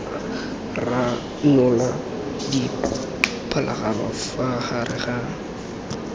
ranola dipharologano fa gare ga